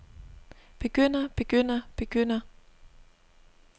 begynder begynder begynder